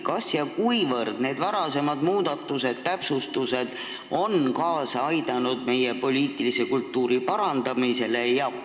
Kas ja kuivõrd need varasemad muudatused ja täpsustused on kaasa aidanud meie poliitilise kultuuri parandamisele?